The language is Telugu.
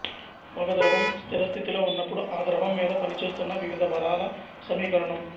ఒక ద్రవం స్థిర స్థితిలో ఉన్నపుడు ఆ ద్రవం మీద పనిచేస్తున్న వివిధ బలాల సమీకరణం